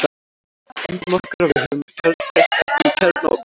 Ímyndum okkur að við höfum kjarnkleyft efni í kjarnaofni.